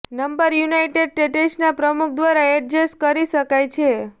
number united સ્ટેટ્સના પ્રમુખ દ્વારા એડજસ્ટ કરી શકાય છે